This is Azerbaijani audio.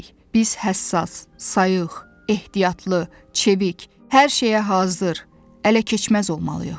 Biz həssas, sayıq, ehtiyatlı, çevik, hər şeyə hazır, ələkeçməz olmalıyıq.